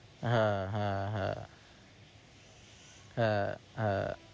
হ্যাঁ, হ্যাঁ, হ্যাঁ হ্যাঁ, হ্যাঁ